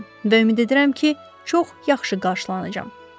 Və ümid edirəm ki, çox yaxşı qarşılanacam.